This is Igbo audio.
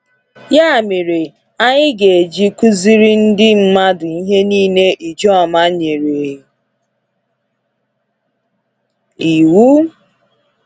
Ya mere, anyị ga eji kụziri ndị mmadụ ihe niile Ijoma nyere iwu.